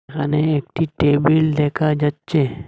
এখানে একটি টেবিল দেখা যাচ্ছে।